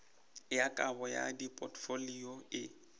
ya kabo ya dipotfolio e